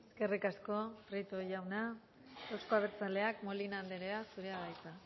eskerrik asko prieto jauna euzko abertzaleak molina andrea zurea da hitza